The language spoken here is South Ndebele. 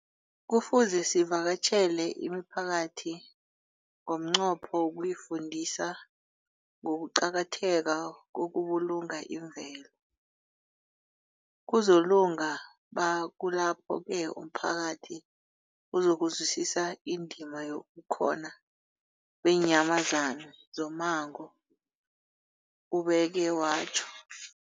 Kufuze sivakatjhele imiphakathi ngomnqopho wokuyifundisa ngokuqakatheka kokubulunga imvelo. Kuzoku ba kulapho-ke umphakathi uzokuzwisisa indima yobukhona beenyamazana zommango, ubeke watjho.